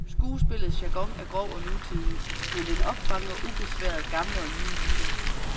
Skuespillets jargon er grov og nutidig, men den opfanger ubesværet gamle og nye myter.